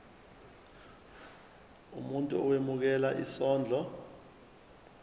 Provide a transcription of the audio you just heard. umuntu owemukela isondlo